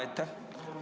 Aitäh!